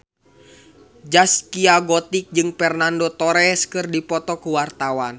Zaskia Gotik jeung Fernando Torres keur dipoto ku wartawan